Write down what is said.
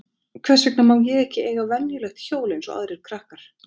Hvers vegna má ég ekki eiga venjulegt hjól eins og aðrir krakkar?